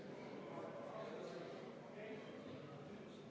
Läheme oma päevakorraga edasi.